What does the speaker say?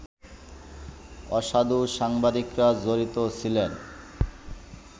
অসাধু সাংবাদিকেরা জড়িত ছিলেন